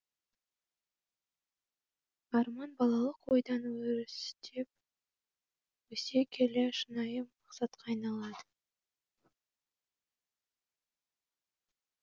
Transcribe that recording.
арман балалық ойдан өрістеп өсе келе шынайы мақсатқа айналады